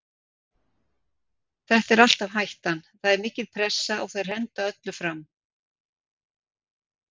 Þetta er alltaf hættan, það er mikil pressa og þeir henda öllum fram.